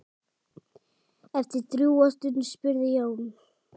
Eftir drjúga stund spurði Jón